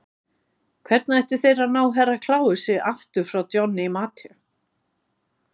Hvernig ættu þeir að ná Herra Kláusi aftur frá Johnny Mate?